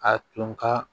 A tun ka